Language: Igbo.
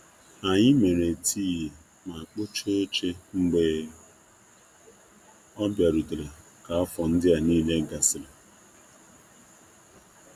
Anyị mere tii ma kpochaa oche mgbe ọ bịarutere ka ọ bịarutere ka afọ ndịa niile gasịrị.